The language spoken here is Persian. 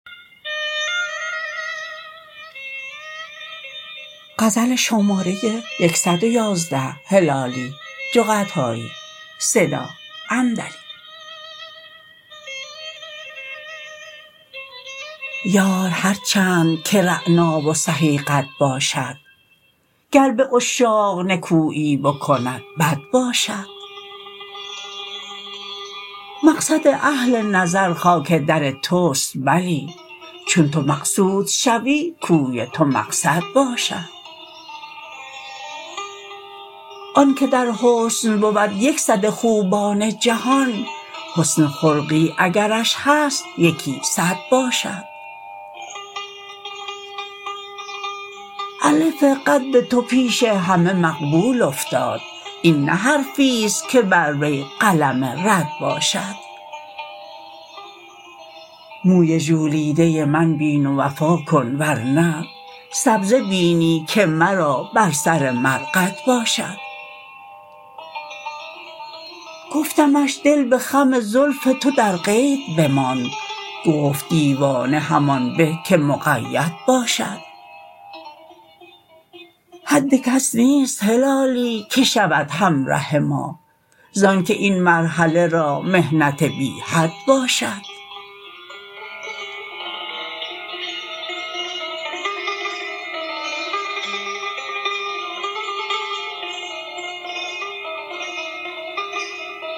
یار هر چند که رعنا و سهی قد باشد گر به عشاق نکویی بکند بد باشد مقصد اهل نظر خاک در توست بلی چون تو مقصود شوی کوی تو مقصد باشد آن که در حسن بود یک صد خوبان جهان حسن خلقی اگرش هست یکی صد باشد الف قد تو پیش همه مقبول افتاد این نه حرفیست که بر وی قلم رد باشد موی ژولیده من بین و وفا کن ور نه سبزه بینی که مرا بر سر مرقد باشد گفتمش دل به خم زلف تو در قید بماند گفت دیوانه همان به که مقید باشد حد کس نیست هلالی که شود همره ما زانکه این مرحله را محنت بی حد باشد